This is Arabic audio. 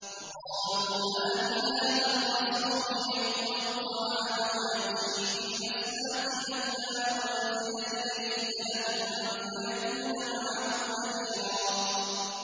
وَقَالُوا مَالِ هَٰذَا الرَّسُولِ يَأْكُلُ الطَّعَامَ وَيَمْشِي فِي الْأَسْوَاقِ ۙ لَوْلَا أُنزِلَ إِلَيْهِ مَلَكٌ فَيَكُونَ مَعَهُ نَذِيرًا